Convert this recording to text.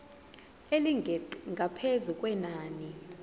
elingeqi ngaphezu kwenani